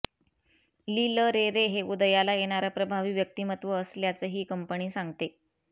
लिल Ray Ray हे उदयाला येणारं प्रभावी व्यक्तिमत्त्वं असल्याचं ही कंपनी सांगते